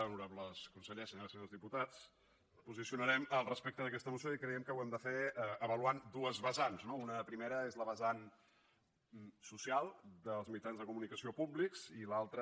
honorables consellers senyores i senyors diputats ens posicionarem al respecte d’aquesta moció i creiem que ho hem de fer avaluant dues vessants no una primera és la vessant social dels mitjans de comunicació públics i l’altra